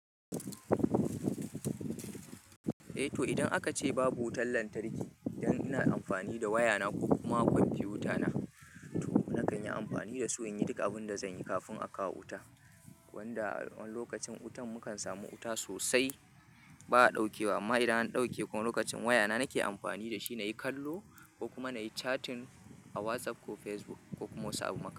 Eh to idan aka ce babu wutar lantarki, idan ina amfani da wayana ko kuma kwamfutana to na kan yi amfani da su in yi duka abin da zan yi kafin aka kawo wuta. Wanda a wani lokacin wutan mukan samu wuta sosai ba a dauke ba amma idan an dauke kuma lokacin wayana nake amfani da shi na yi kallo ko kuma na yi chatting a WhatsApp ko Facebook ko kuma wasu abubuwa.